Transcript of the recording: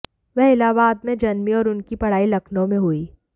वह इलाहाबाद में जन्मीं और उनकी पढ़ाई लखनऊ में हुईं